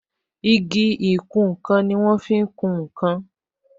Igi ìkùn nkan ni wọn fi ń kún nkan